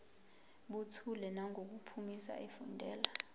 buthule nangokuphimisa efundela